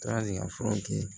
Taara ni ka fura kɛ yen